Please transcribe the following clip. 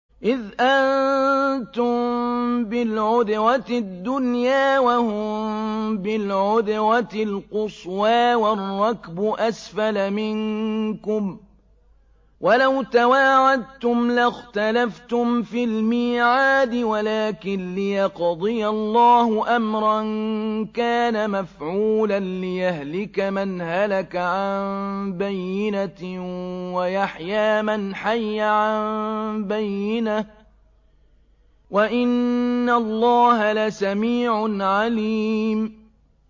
إِذْ أَنتُم بِالْعُدْوَةِ الدُّنْيَا وَهُم بِالْعُدْوَةِ الْقُصْوَىٰ وَالرَّكْبُ أَسْفَلَ مِنكُمْ ۚ وَلَوْ تَوَاعَدتُّمْ لَاخْتَلَفْتُمْ فِي الْمِيعَادِ ۙ وَلَٰكِن لِّيَقْضِيَ اللَّهُ أَمْرًا كَانَ مَفْعُولًا لِّيَهْلِكَ مَنْ هَلَكَ عَن بَيِّنَةٍ وَيَحْيَىٰ مَنْ حَيَّ عَن بَيِّنَةٍ ۗ وَإِنَّ اللَّهَ لَسَمِيعٌ عَلِيمٌ